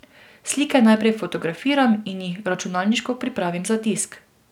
Slike najprej fotografiram in jih računalniško pripravim za tisk.